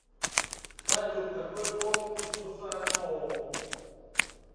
салют какой пол у сусаноо